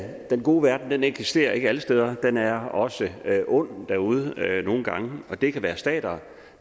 den gode verden eksisterer ikke alle steder den er også ond derude nogle gange og det kan være stater